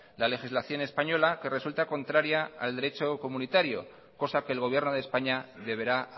la legislación española que resulta contraria al derecho comunitario cosa que el gobierno de españa deberá